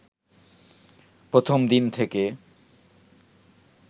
প্রথম দিন থেকে